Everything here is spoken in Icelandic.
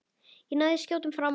Og náði skjótum frama.